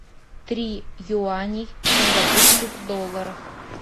три юаней в сингапурских долларах